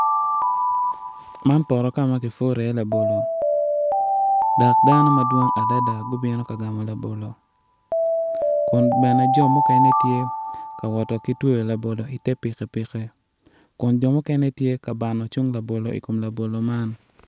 Man poto kama ki puro iye labolo dok dano madwong adada gubino ka gamo labolo kun bene jo mukene gitye ka wot ki tweyo labolo i te piki piki kun jo mukene gitye ka bano cung labolo i kom labolo man.